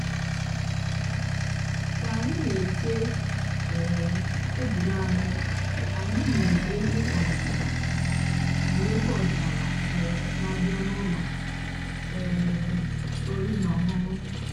kà ànyị́ nà-èché um tèbụ́lù ànyị́ ànyị́ nụ́rụ́ ègwú ọ̀dị́náàlà nụ́rụ́ ègwú ọ̀dị́náàlà um nà-àbịá n'ụ́lọ́ um ọ̀rí nà ọ̀ṅụ́ṅụ́.